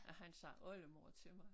Han siger oldemor til mig